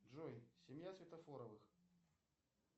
джой семья светофоровых